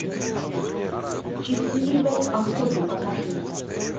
счастливой охоты покажи